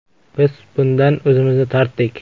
Biz bundan o‘zimizni tortdik.